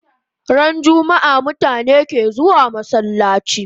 Ran jummaa mutane ke zuwa masallachi